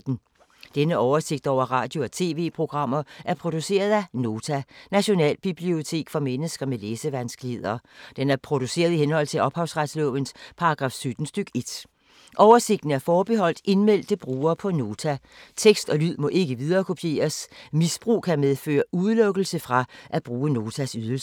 Denne oversigt over radio og TV-programmer er produceret af Nota, Nationalbibliotek for mennesker med læsevanskeligheder. Den er produceret i henhold til ophavsretslovens paragraf 17 stk. 1. Oversigten er forbeholdt indmeldte brugere på Nota. Tekst og lyd må ikke viderekopieres. Misbrug kan medføre udelukkelse fra at bruge Notas ydelser.